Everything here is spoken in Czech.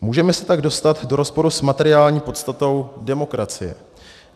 Můžeme se tak dostat do rozporu s materiální podstatou demokracie.